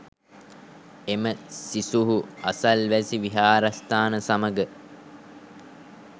එම සිසුහු අසල්වැසි විහාරස්ථාන සමග